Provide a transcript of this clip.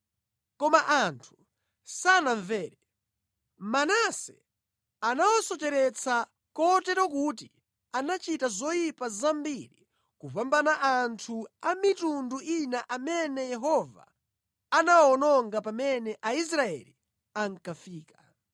Koma anthu sanamvere. Manase anawasocheretsa, kotero kuti anachita zoyipa zambiri kupambana anthu a mitundu ina amene Yehova anawawononga pamene Aisraeli ankafika.